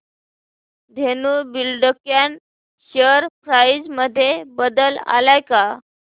Dhenu Buildcon share price मध्ये बदल आलाय का